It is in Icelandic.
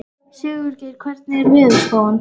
Sigurgeir, hvernig er veðurspáin?